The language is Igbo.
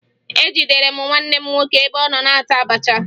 Ejidere m nwanne m nwoke ebe ọ na-ata abacha